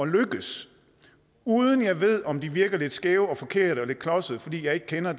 lykkes uden jeg ved om de virker lidt skæve og forkerte og lidt klodsede fordi jeg ikke kender